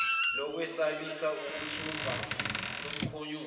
lokwesabisa lokuthumba lomkhonyovu